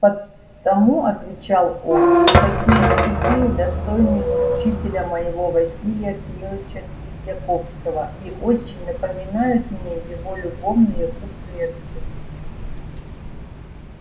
потому отвечал он что такие стихи достойны учителя моего василия кирилыча тредьяковского и очень напоминают мне его любовные куплетцы